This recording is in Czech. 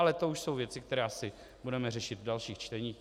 Ale to už jsou věci, které asi budeme řešit v dalších čteních.